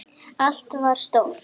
Allt var stórt.